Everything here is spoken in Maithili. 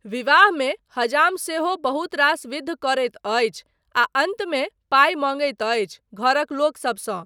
विवाहमे हजाम सेहो बहुत रास विध करैत अछि आ अन्तमे पाइ मँगैत अछि घरक लोकसबसँ।